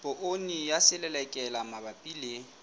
poone ya selelekela mabapi le